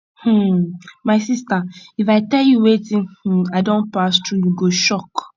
um my sister if i tell you wetin um i don pass through you go shock